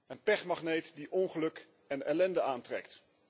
Een pechmagneet die ongeluk en ellende aantrekt.